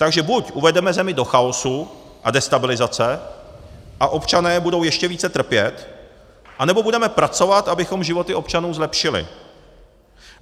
Takže buď uvedeme zemi do chaosu a destabilizace a občané budou ještě více trpět, anebo budeme pracovat, abychom životy občanů zlepšili.